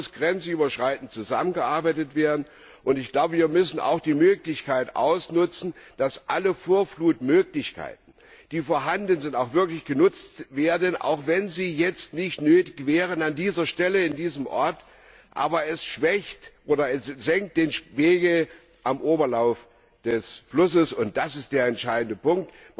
Hier muss grenzüberschreitend zusammengearbeitet werden, und wir müssen auch die Möglichkeit ausnutzen, dass alle Vorflutmöglichkeiten, die vorhanden sind, auch wirklich genutzt werden, auch wenn sie jetzt nicht nötig wären, an dieser Stelle, in diesem Ort, aber den Pegel am Oberlauf des Flusses senken. Das ist der entscheidende Punkt.